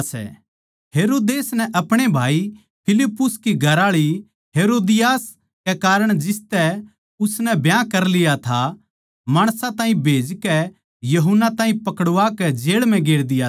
हेरोदेस नै आपणे भाई फिलिप्पुस की घरआळी हेरोदियास कै कारण जिसतै उसनै ब्याह कर लिया था माणसां ताहीं भेजकै यूहन्ना ताहीं पकड़वाकै जेळ म्ह गेर दिया था